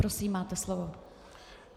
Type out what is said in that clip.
Prosím, máte slovo.